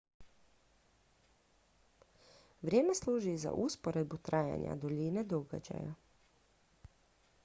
vrijeme služi i za usporedbu trajanja duljine događaja